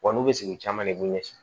Wa n'u bɛ sigi caman de b'u ɲɛsin